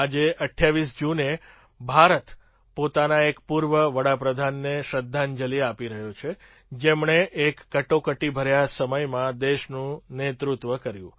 આજે ૨૮ જૂને ભારત પોતાના એક પૂર્વ પ્રધાનમંત્રી ને શ્રદ્ધાંજલી આપી રહ્યો છે જેમણે એક કટોકટીભર્યા સમયમાં દેશનું નેતૃત્વ કર્યું